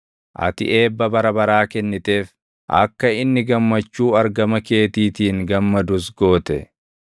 Ati eebba bara baraa kenniteef; akka inni gammachuu argama keetiitiin gammadus goote.